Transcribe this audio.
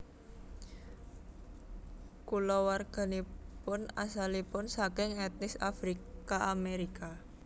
Kulawarganipun asalipun saking etnis Afrika Amerika